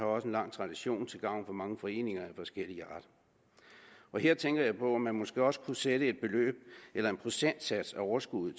også en lang tradition herfor til gavn for mange foreninger af forskellig art her tænker jeg på om man måske også kunne sætte et beløb eller en procentsats af overskuddet